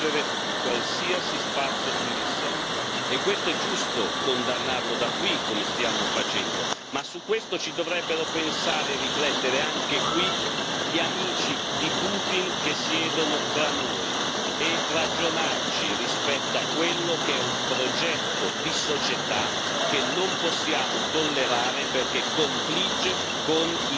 E questo è giusto condannarlo da qui, come stiamo facendo, ma su questo ci dovrebbero pensare e riflettere, anche qui, gli amici di Putin che siedono tra noi e ragionarci rispetto a quello che è un progetto di società che non possiamo tollerare perché confligge con i nostri valori e la nostra democrazia.